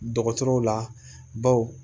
Dɔgɔtɔrɔw la baw